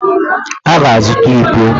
Ha ga-azụta íkó